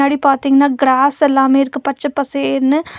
பின்னாடி பாத்தீங்கனா கிராஸ் எல்லாமே இருக்கு பச்ச பசேல்னு.